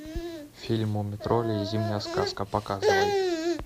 фильм муми тролли и зимняя сказка показывай